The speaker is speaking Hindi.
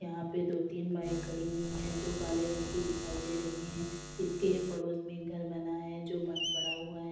यहां पे दो-तीन बाइक खड़ी हुई हैं जो काले रंग की दिखाई दे रही हैं। इसके पड़ोस में एक घर बना है जो बंद पड़ा हुआ है।